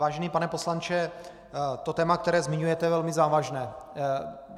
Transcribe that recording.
Vážený pane poslanče, to téma, které zmiňujete, je velmi závažné.